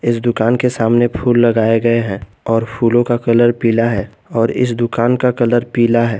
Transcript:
दुकान के सामने फूल लगाए गए हैं और फूलों का कलर पीला है और इस दुकान का कलर पीला है।